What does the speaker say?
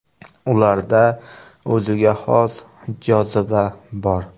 Ularda o‘ziga xos joziba bor.